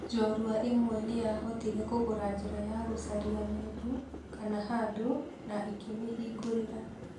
Njorua ĩmwe nĩ yahotire kũgũra njĩra ya gũcaria mũndũ kana handũ, na ĩkĩmĩhingũrĩra.